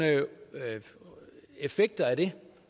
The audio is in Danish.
effekter af